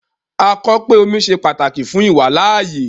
A kọ pe omi ṣẹ pátàkì fún ìwàlàayé